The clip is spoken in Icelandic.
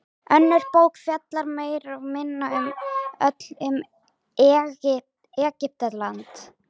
Önnur bók fjallar meira og minna öll um Egyptaland.